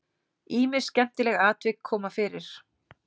Ýmis skemmtileg atvik koma fyrir.